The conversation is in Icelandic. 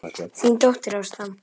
Þín dóttir Ásta.